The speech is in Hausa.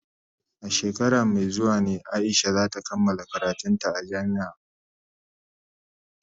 A shekara mai zuwa ne Aisha za ta kammala karantun ta a jami'a.